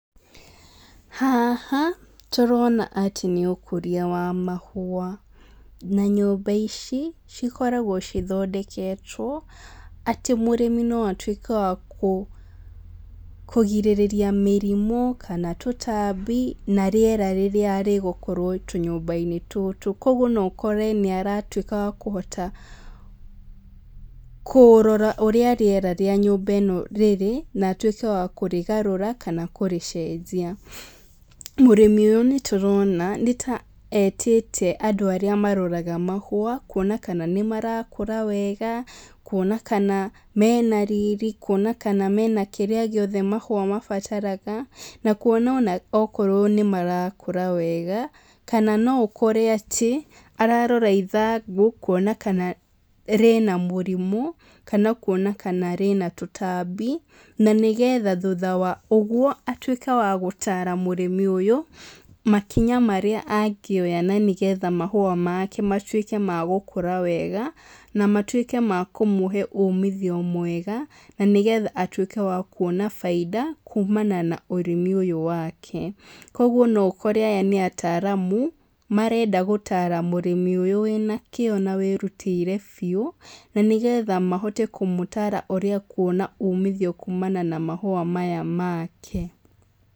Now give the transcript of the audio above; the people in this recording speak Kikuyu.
Haha, tũrona atĩ nĩũkũria wwa mahũa na nyũmba ici cikoragwo cithondeketwo atĩ mũrĩmi no atuĩke wa kũgirĩrĩa mĩrimũ, kana tũtambi, na rĩera rĩrĩa rĩgũkorwo tũnyũmbainĩ tũtũ koguo no ũkore nĩaratuĩka wa kũhota kũrora ũrĩa rĩera rĩa nyũmba ĩno rĩrĩ, na atuĩke wa kũrĩgarũra, kana kũrĩcenjia. Mũrĩmi ũyũ nĩtũrona nĩta etĩte andũ arĩa maroraga mahũa, kuona kana nĩmarakũra wega, kuona kana mena riri, kuona kana mena kĩrĩa gĩothe mahũa mabataraga, na kuona ona okorwo nĩmarakũra wega, kana no ũkore atĩ, ararora ithangũ, kuona kana rĩna mũrimũ, kana kuona kana rĩna tũtambi, na nĩgetha thutha wa ũguo, atuĩke wa gũtara mũrĩmi ũyũ, makinya marĩa angĩoya na nĩgetha mahũa make matuĩke ma gũkũra wega, na matuĩke ma kũmũhe ũmithio mwega, na nĩgetha atuĩke wa kuona bainda, kumana na ũrĩmi ũyũ wake. Koguo no ũkore aya nĩ ataramu, marenda gũtara mũrĩmi ũyũ wĩna kĩo na wĩrutĩire biũ, na nĩgetha mahote kũmũtara ũrĩa akuona umithio kumana na mahũa maya make